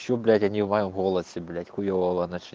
что блять они в моем голосе блять хуева чле